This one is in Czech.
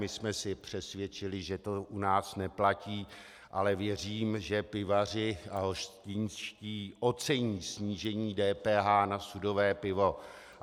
My jsme se přesvědčili, že to u nás neplatí, ale věřím, že pivaři a hostinští ocení snížení DPH na sudové pivo.